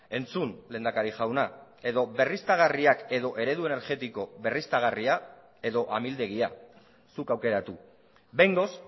entzun lehendakari jauna edo berriztagarriak edo eredu energetiko berriztagarria edo amildegia zuk aukeratu behingoz